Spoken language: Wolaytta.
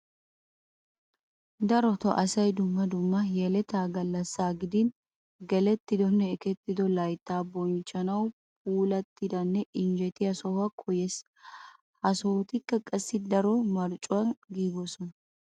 Darotoo asay dumma dumma yeletaa gallassaa gidin gelettidonne ekettido layttaa bonchchaaanawu puulattidanne injjetiya sohuwa koyees. Ha.sohotikka qassi daro marccuwa giigoosona.